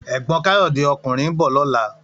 Ègbòn Kayode (òkúnrìn) n bò lòlá